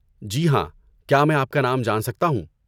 جی ہاں. کیا میں آپ کا نام جان سکتا ہوں؟